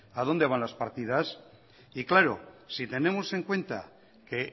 a donde van las partidas y claro si tenemos en cuenta que